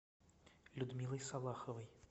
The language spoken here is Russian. людмилой салаховой